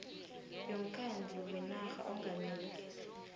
yomkhandlu wenarha ongamele